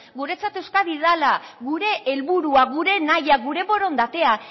guretzat euskadi dela gure helburua gure nahia gure borondatea